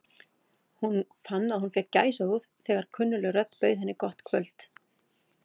Hún fann að hún fékk gæsahúð þegar kunnugleg rödd bauð henni gott kvöld.